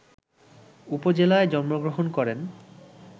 উপজেলায় জন্মগ্রহণ করেন